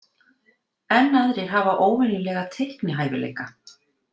Enn aðrir hafa óvenjulega teiknihæfileika.